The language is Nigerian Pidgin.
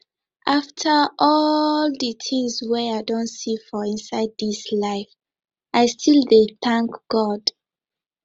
after all the things wey i don see for inside this life i still dey thank god